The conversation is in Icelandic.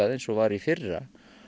eins og var í fyrra